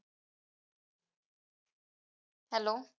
hello